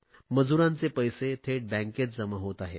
मजूरांचे पैसेही थेट बँकेत जमा होत आहेत